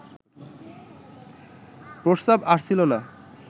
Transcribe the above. প্রস্রাব আসছিল না